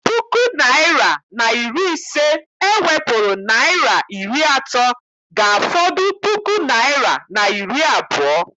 Puku naịra na iri ise e wepụrụ naịra iri atọ ga-afọdụ puku naịra na iri abụọ.